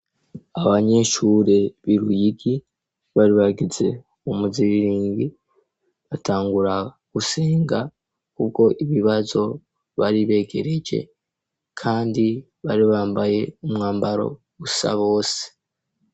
Abanyeshure bo iruyigi bari bagize umuziriringi batangura gusenga ubwo ibibazo bari begereje kandi bari bambaye umwambaro usa bose.